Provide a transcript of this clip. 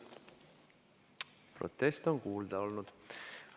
Protesti on kuulda võetud.